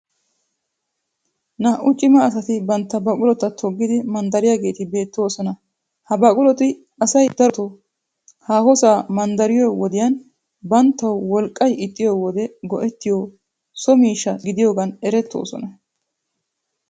Naa'u cima asati bantta baqulota toggidi manddariyageeti beettoosona. Ha baquloti asay darotoo haahosaa manddariyo wodiyan banttawu woliqqay ixxiyoode go'ettiyo so miishsha gidiyogan erettoosona.